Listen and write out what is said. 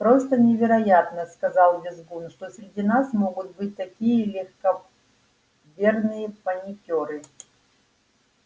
просто невероятно сказал визгун что среди нас могут быть такие легковерные паникёры